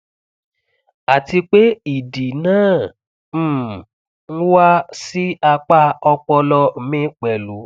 àti pé ìdì náà um ń wá sí apá ọpọlọ mi pẹlú